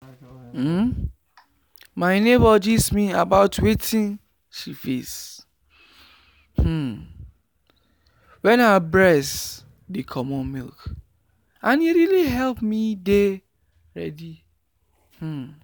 um my neighbor gist me about wetin she face um wen her breast dey comot milk and e really help me dey ready um.